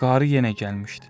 Qarı yenə gəlmişdi.